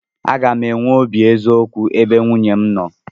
Aga m enwe obi eziokwu ebe nwunye m nọ.